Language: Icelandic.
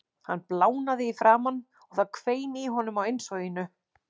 Hann blánaði í framan og það hvein í honum á innsoginu.